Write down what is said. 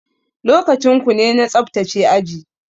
Lokacin kune na tsaftace aji.